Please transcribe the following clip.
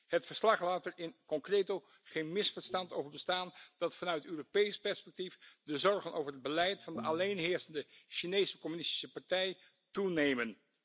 Het verslag laat er in concreto geen misverstand over bestaan dat vanuit Europees perspectief de zorgen over het beleid van de alleenheersende Chinese Communistische Partij toenemen.